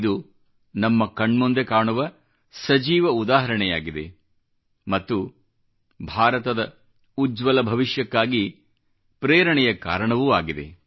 ಇದು ನಮ್ಮ ಕಣ್ಮುಂದೆ ಕಾಣುವ ಸಜೀವ ಉದಾಹರಣೆಯಾಗಿದೆ ಮತ್ತು ಭಾರತದ ಉಜ್ವಲ ಭವಿಷ್ಯಕ್ಕಾಗಿ ಪೇರಣೆಯ ಕಾರಣವೂ ಆಗಿದೆ